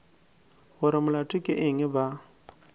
gore molato ke eng ba